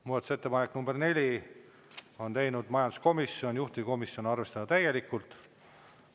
Muudatusettepaneku nr 4 on teinud majanduskomisjon, juhtivkomisjon: arvestada täielikult.